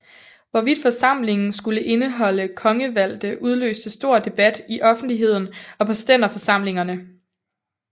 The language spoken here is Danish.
Hvorvidt forsamlingen skulle indeholde kongevalgte udløste stor debat i offentligheden og på stænderforsamlingerne